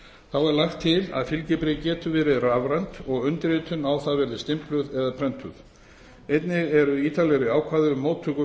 þá er lagt til að fylgibréfið getur verið rafrænt og undirritun á það verið stimpluð eða prentuð einnig eru ítarlegri ákvæði um móttöku